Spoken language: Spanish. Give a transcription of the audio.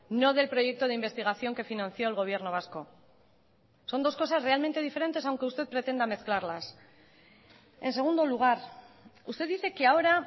no del proyecto de investigación que financió el gobierno vasco son dos cosas realmente diferentes aunque usted pretenda mezclarlas en segundo lugar usted dice que ahora